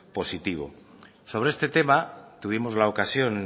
positivo sobre este tema tuvimos la ocasión